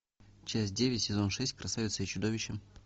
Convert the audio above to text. часть девять сезон шесть красавица и чудовище